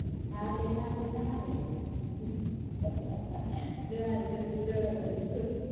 હા તો એને આપણે જણાવી દઈએ જણાવી દેશું જણાવી દેશું